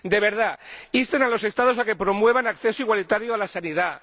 De verdad, insten a los Estados a que promuevan un acceso igualitario a la sanidad